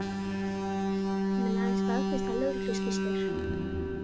Hann mun aðeins staðfesta lögregluskýrslur